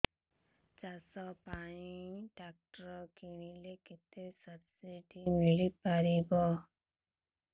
ଚାଷ ପାଇଁ ଟ୍ରାକ୍ଟର କିଣିଲେ କେତେ ସବ୍ସିଡି ମିଳିପାରିବ